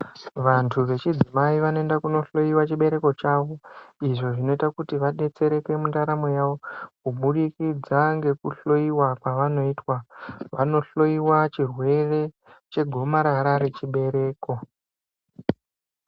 Vantu vechidzimai vanoenda kunohloiwa chibereko chavo, izvo zvinoita kuti vadetsereke mundaramo yavo, kubudikidza ngekuhloiwa kwavanoitwa. Vanohloiwa chirwere, chegomarara rechibereko.